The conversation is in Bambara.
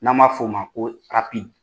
N'an b'a f'o ma ko arapid